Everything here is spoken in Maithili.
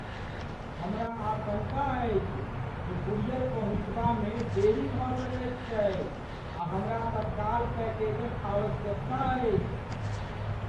हमरा आशङ्का अछि जे कूरियर पहुँचबामे देरी भऽ सकैत छैक आ हमरा तत्काल पैकेजक आवश्यकता अछि।